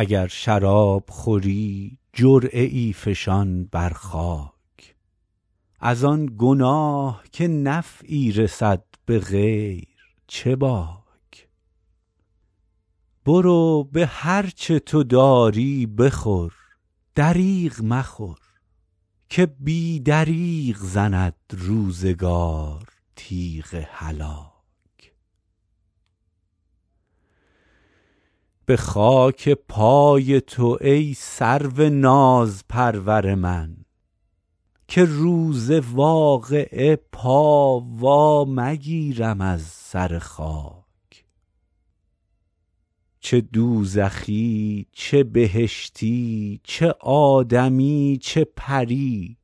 اگر شراب خوری جرعه ای فشان بر خاک از آن گناه که نفعی رسد به غیر چه باک برو به هر چه تو داری بخور دریغ مخور که بی دریغ زند روزگار تیغ هلاک به خاک پای تو ای سرو نازپرور من که روز واقعه پا وا مگیرم از سر خاک چه دوزخی چه بهشتی چه آدمی چه پری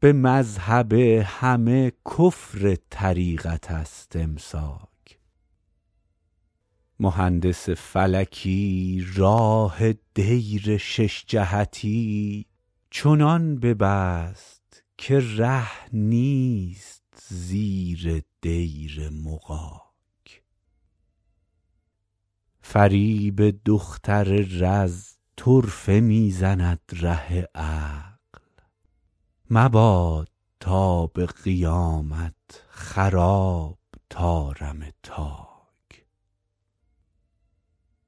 به مذهب همه کفر طریقت است امساک مهندس فلکی راه دیر شش جهتی چنان ببست که ره نیست زیر دیر مغاک فریب دختر رز طرفه می زند ره عقل مباد تا به قیامت خراب طارم تاک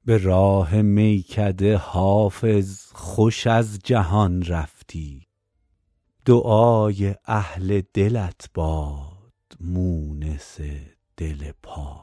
به راه میکده حافظ خوش از جهان رفتی دعای اهل دلت باد مونس دل پاک